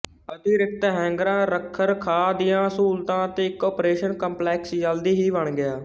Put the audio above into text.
ਅਤਿਰਿਕਤ ਹੈਂਗਰਾਂ ਰੱਖਰਖਾਅ ਦੀਆਂ ਸਹੂਲਤਾਂ ਅਤੇ ਇੱਕ ਓਪਰੇਸ਼ਨ ਕੰਪਲੈਕਸ ਜਲਦੀ ਹੀ ਬਣ ਗਿਆ